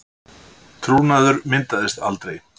Trúnaður myndaðist aldrei